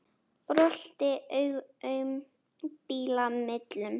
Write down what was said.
Brölti aum bíla millum.